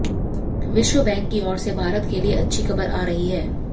विश्व बैंक की ओर से भारत के लिए अच्छी खबर आ रही है